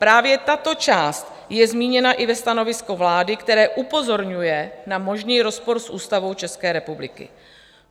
Právě tato část je zmíněna i ve stanovisku vlády, které upozorňuje na možný rozpor s Ústavou České republiky.